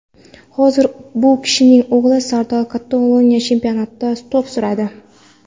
Hozir bu kishining o‘g‘li Sardor Kataloniya chempionatida to‘p suradi.